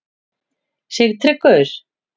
Sigtryggur